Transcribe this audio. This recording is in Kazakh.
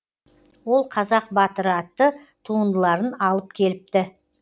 ол қазақ батыры атты туындыларын алып келіпті